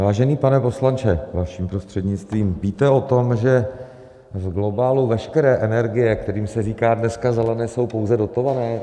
Vážený pane poslanče, vaším prostřednictvím, víte o tom, že v globálu veškeré energie, kterým se říká dneska zelené, jsou pouze dotované?